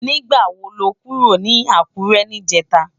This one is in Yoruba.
Nigbá wo ló kúró ni Akure nijètá?